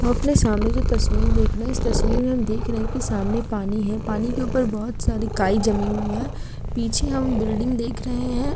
हम अपने सामने जो तस्वीर देख रहे हैं इस तस्वीर में देख रहे हैं कि सामने पानी है। पानी के ऊपर बोहोत सारी काई जमी हुई है। पीछे हम बिल्डिंग देख रहे हैं।